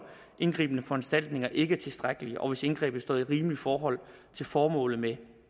indgribende foranstaltninger ikke er tilstrækkelige og hvis indgrebet står i rimeligt forhold til formålet med